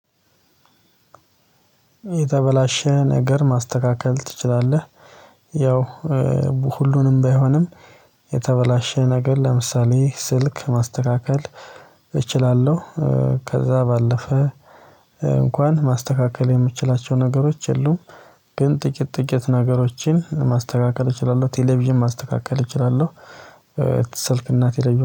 የተበላሸ ነገር ማስተካከል ትችላለህ? ያው ሁሉንም ባይሆንም የተበላሸ ነገር ለምሳሌ ስልክ ማስተካከል እችላለሁ ከዛ ባለፈ እንኳን ማስተካከል የምትችላቸው ነገሮች የሉም ግን ጥቂት ጥቂት ነገሮችን ማስተካከል እችላለሁ ቴሌቪዥን ማስተካከል እችላለሁ ስልክና ቴሌቪዥን